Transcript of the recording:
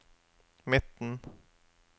midten